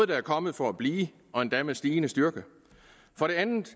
der er kommet for at blive og endda med stigende styrke for det andet